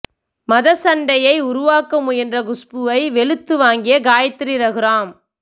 மதச் சண்டையை உருவாக்க முயன்ற குஷ்புவை வெளுத்து வாங்கிய காயத்ரி ரகுராம்